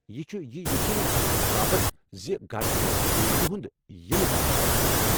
یہ چھُ یہِ یقیٖنی بناونہٕ باپتھ زِ گرٕ چھُ دیوی ہِنٛدِ ینہ باپتھ تیار۔